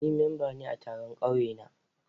Ni memba ne a taron ƙauye na.